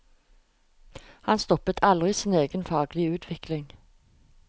Han stoppet aldri sin egen faglige utvikling.